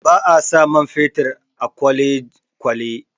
Ba a sa man fetur a kwalekwale